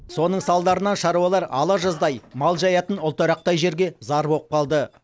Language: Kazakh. соның салдарынан шаруалар алажаздай мал жаятын ұлтарақтай жерге зар болып қалды